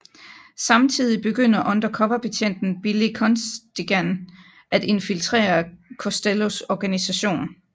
Samtidig begynder undercover betjenten Billy Costigan at infiltrere Costellos organisation